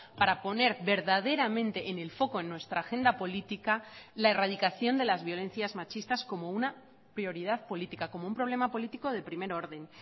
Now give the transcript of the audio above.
para poner verdaderamente en el foco en nuestra agenda política la erradicación de las violencias machistas como una prioridad política como un problema político de primer orden